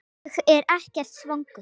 Ég er ekkert svangur